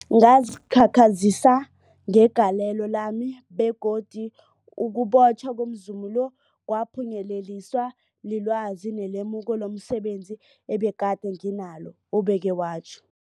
Ngazikhakhazisa ngegalelo lami, begodu ukubotjhwa komzumi lo kwaphunyeleliswa lilwazi nelemuko lomse benzi ebegade nginalo, ubeke watjho.